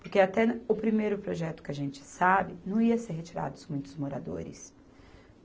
Porque até na, o primeiro projeto que a gente sabe, não ia ser retirados muitos moradores.